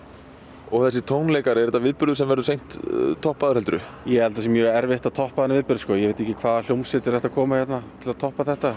og þessir tónleikar er þetta viðburður sem verður seint toppaður heldurðu ég held það sé mjög erfitt að toppa þennan viðburð ég veit ekki hvaða hljómsveitir ættu að koma hérna til að toppa þetta